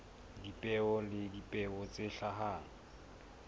dipeo le dipeo tse hlahang